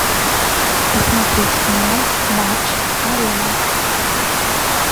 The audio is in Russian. посмотреть канал матч арена